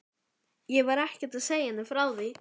Ég var ekkert að segja henni frá því.